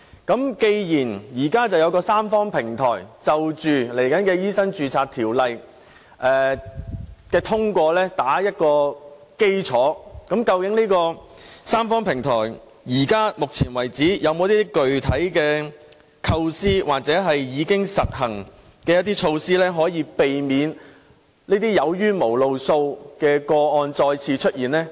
既然現時有三方平台，為日後通過修訂《醫生註冊條例》打下基礎，究竟三方平台到目前為止有否具體構思或已經實行的措施，可避免這些"有冤無路訴"的個案再次出現呢？